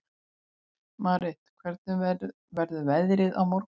Marit, hvernig verður veðrið á morgun?